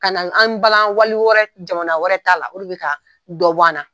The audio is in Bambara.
Ka na an bala wali wɛrɛ jamana wɛrɛ t'a la o de bɛ ka dɔ bɔ an na.